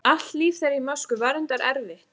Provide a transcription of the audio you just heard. Allt líf þeirra í Moskvu var reyndar erfitt.